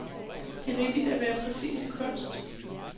Det er vigtigt at være præcis i kunst.